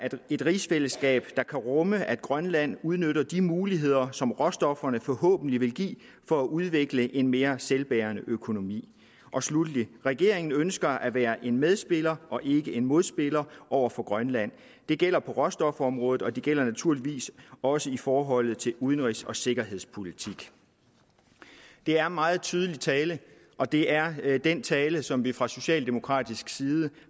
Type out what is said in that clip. et rigsfællesskab der kan rumme at grønland udnytter de muligheder som råstofferne forhåbentlig vil give for at udvikle en mere selvbærende økonomi sluttelig regeringen ønsker at være en medspiller ikke modspiller over for grønland det gælder på råstofområdet og det gælder naturligvis også i forhold til udenrigs og sikkerhedspolitikken det er meget tydelig tale og det er den tale som vi fra socialdemokratisk side